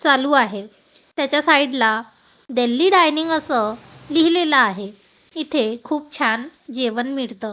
चालू आहे त्याच्या साईड ला दिल्ली डायनिंग असं लिहिलेलं आहे इथे खूप छान जेवण मिळत.